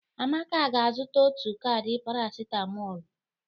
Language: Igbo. Amaka ga-azụta otu kaadi parasitamol.